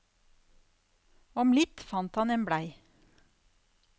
Om litt fant han en blei.